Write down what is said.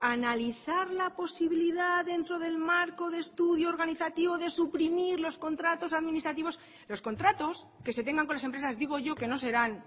analizar la posibilidad dentro del marco de estudio organizativo de suprimir los contratos administrativos los contratos que se tengan con las empresas digo yo que no serán